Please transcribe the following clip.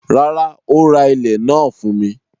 Rárá, ó ra ilẹ̀ náà fún mi.